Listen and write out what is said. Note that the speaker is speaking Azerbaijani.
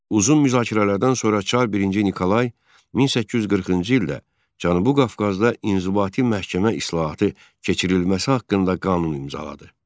Uzun müzakirələrdən sonra Çar birinci Nikolay 1840-cı ildə Cənubi Qafqazda inzibati məhkəmə islahatı keçirilməsi haqqında qanun imzaladı.